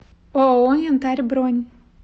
ооо янтарь бронь